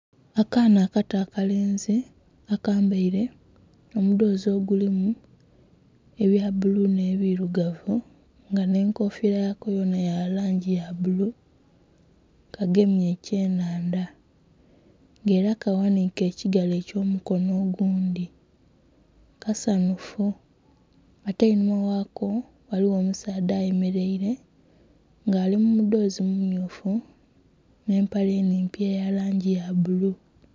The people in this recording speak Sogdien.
Akaana akato akalenzi akambaire omudhoozi ogulimu ebya bbulu nh'ebilugavu nga nh'enkofiira yako yona ya langi ya bbulu kagemye ekyenhandha nga era kaghanhike ekigalo eky'omukono ogundhi kasanhufu ate einhuma ghako ghaligho omusaadha ayemeleire nga ali mu mudhoozi mummyufu n'empale enhimpi eya langi ya bbulu.